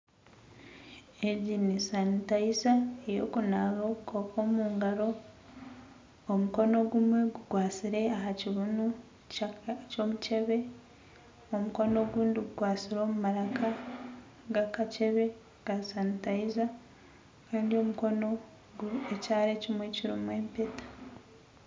Egi ni sanitayiza yokunaba obukooko omu ngaaro omukono ogumwe gukwasire omu maraka gakacebe ka sanitayiza Kandi omukono ekyara ekimwe kirimu empeta